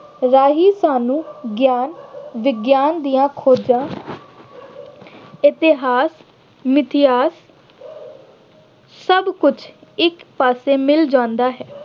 ਰਾਹੀਂ ਸਾਨੂੰ ਗਿਆਨ ਵਿਗਿਆਨ ਦੀਆਂ ਖੋਜਾਂ ਇਤਿਹਾਸ, ਮਿਥਿਹਾਸ ਸਭ ਕੁੱਝ ਇੱਕ ਪਾਸੇ ਮਿਲ ਜਾਂਦਾ ਹੈ।